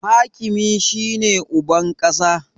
Hakimi shi ne uban ƙasa